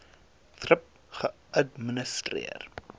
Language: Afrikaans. thrip geadministreer